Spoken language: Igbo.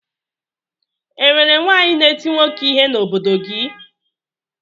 E nwere nwaanyị na-eti nwoke ihe n'obodo gị?